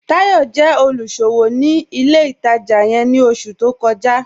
Táyọ̀ jẹ́ olúṣọwọ́ ni ilẹ̀ ìtajá yẹ̀n ni oṣù tó kọ́jà